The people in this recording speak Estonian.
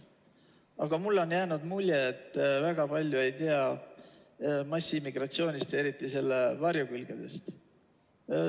Aga mulle on jäänud mulje, et te väga palju ei tea massiimmigratsioonist ja eriti selle varjukülgedest.